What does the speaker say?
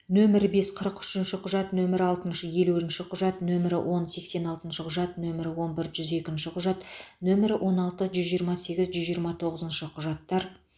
нөмірі бес қырық үшінші құжат нөмірі алтыншы елуінші құжат нөмірі он сексен алтыншы құжат нөмірі он бір жүз екінші құжат нөмірі он алты жүз жиырма сегіз жүз жиырма тоғызыншы құжаттар